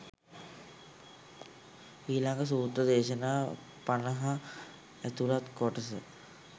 ඊළඟ සූත්‍ර දේශනා පනහ ඇතුළත් කොටස